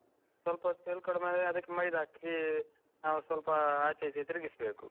ಸ್ವಲ್ಪ ಹೊತ್ತು ಎಳ್ಕೊಂದ್ಮೇಲೆ ಅದಕ್ಕೆ ಮೈದಾ ಹಾಕಿ ನಾವ್ ಸ್ವಲ್ಪ ಆಚೆ ಈಚೆ ತಿರುಗಿಸ್ಬೇಕು.